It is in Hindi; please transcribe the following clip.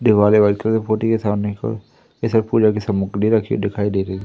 दीवाले व्हाइट कलर से पोती है सामने को ये सब पूजा की सामुग्री रखी हुई दिखाई दे रही।